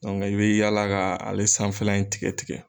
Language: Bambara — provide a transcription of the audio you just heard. Dɔnke i be yaala k' ale sanfɛla in tigɛ tigɛ